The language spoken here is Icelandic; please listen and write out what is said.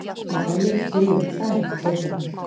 Já það er mikill rígur, það er ekkert leyndarmál.